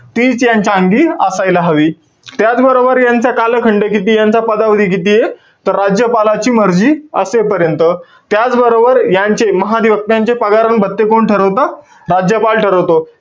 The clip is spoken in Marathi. तीच यांच्या अंगी असायला हवी. त्याचबरोबर यांचा कालखंड कितीय, यांचा पदावधी कितीय? तर राज्यपालाची मर्जी असेपर्यंत. त्याचबरोबर, यांचे महाधिवक्त्यांचे पगार आणि भत्ते कोण ठरवतं? राज्यपाल ठरवतो.